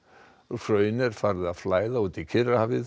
hraun er farið að flæða út í Kyrrahafið